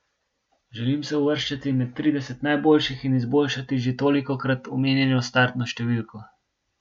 Želim se uvrščati med trideset najboljših in izboljšati že tolikokrat omenjeno startno številko.